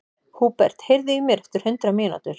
Húbert, heyrðu í mér eftir hundrað mínútur.